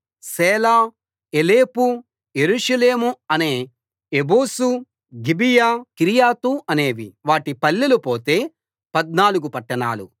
సేలా ఎలెపు యెరూషలేము అనే ఎబూసు గిబియా కిర్యతు అనేవి వాటి పల్లెలు పోతే పద్నాలుగు పట్టణాలు